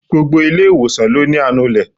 Gbogbo ilé ìwòsàn ló ní anulè.